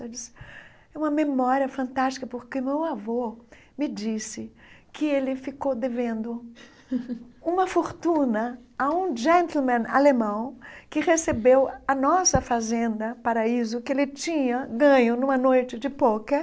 Ela disse, é uma memória fantástica porque meu avô me disse que ele ficou devendo uma fortuna a um alemão que recebeu a nossa Fazenda Paraíso, que ele tinha ganho numa noite de pôquer,